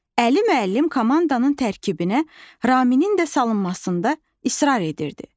Əli müəllim komandanın tərkibinə Ramimin də salınmasında israr edirdi.